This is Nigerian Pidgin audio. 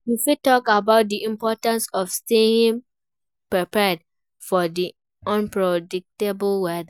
You fit talk about di importance of staying prepared for di unpredictable weather.